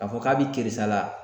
K'a fɔ k'a bɛ kɛrisa la.